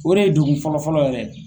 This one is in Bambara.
O de ye dugu fɔlɔfɔlɔ yɛrɛ ye.